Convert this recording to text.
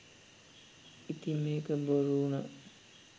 ඉතින් මේක බොරු උනා